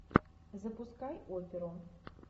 запускай оперу